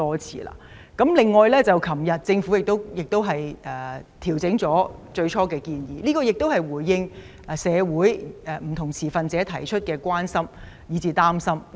此外，政府昨天修訂了最初的建議，回應社會上不同持份者表達的關心和擔心。